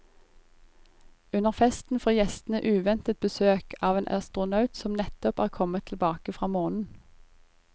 Under festen får gjestene uventet besøk av en astronaut som nettopp er kommet tilbake fra månen.